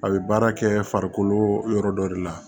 A bɛ baara kɛ farikolo yɔrɔ dɔ de la